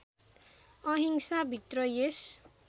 अहिंसा भित्र यस